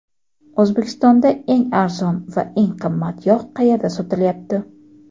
O‘zbekistonda eng arzon va eng qimmat yog‘ qayerda sotilyapti?.